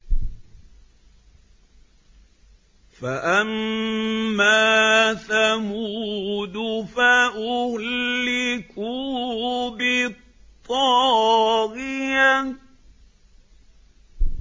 فَأَمَّا ثَمُودُ فَأُهْلِكُوا بِالطَّاغِيَةِ